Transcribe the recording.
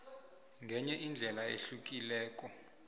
ngenye indlela ehlukileko